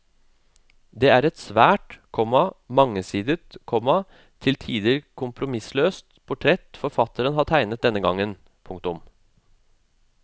Det er et svært, komma mangesidet, komma til tider kompromissløst portrett forfatteren har tegnet denne gangen. punktum